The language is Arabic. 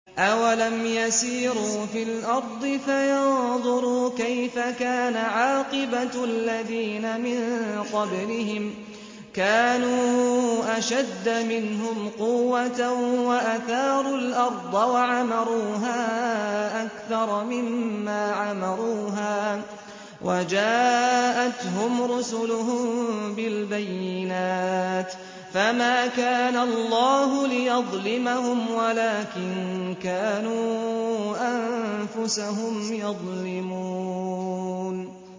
أَوَلَمْ يَسِيرُوا فِي الْأَرْضِ فَيَنظُرُوا كَيْفَ كَانَ عَاقِبَةُ الَّذِينَ مِن قَبْلِهِمْ ۚ كَانُوا أَشَدَّ مِنْهُمْ قُوَّةً وَأَثَارُوا الْأَرْضَ وَعَمَرُوهَا أَكْثَرَ مِمَّا عَمَرُوهَا وَجَاءَتْهُمْ رُسُلُهُم بِالْبَيِّنَاتِ ۖ فَمَا كَانَ اللَّهُ لِيَظْلِمَهُمْ وَلَٰكِن كَانُوا أَنفُسَهُمْ يَظْلِمُونَ